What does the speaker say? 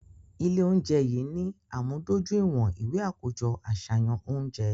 Ile ounjẹ yii ni amudojuiwọn iwe akojọ aṣayan ounjẹ